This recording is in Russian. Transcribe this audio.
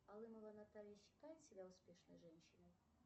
алымова наталья считает себя успешной женщиной